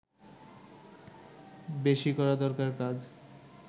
বেশি করা দরকার কাজ